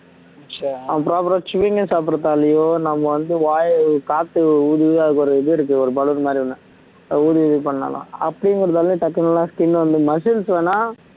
அவன் problem chewing gum சாப்பிடுறதுனாலயோ நம்ம வந்து வாய காத்து ஊதி அதுக்கு ஒரு இது இருக்கு பலூன் மாதிரி ஒண்ணு ஊதி இது பண்ணலாம் அப்படிங்குறதுனால டக்குன்னு skin வந்து muscles வேணும்னா